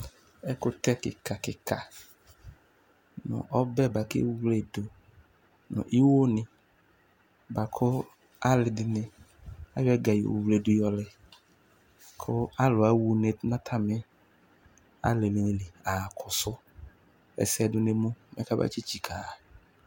Ɛkʋtɛ kɩka-kɩka nʋ ɔbɛ bʋa kʋ ewle yɩ dʋ nʋ iwonɩ bʋa kʋ alɩ dɩnɩ ayɔ dayi yɔwledʋ yɔ lɛ, kʋ alʋ aɣa une nʋ atamɩ alɩnɩ li ɣa kɔsʋ ɛsɛ dʋ nʋ emu, mɛ kamatsɩtsikǝ ɣa